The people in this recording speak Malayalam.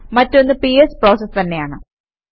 മറ്റൊന്ന് പിഎസ് പ്രോസസ് തന്നെയാണ്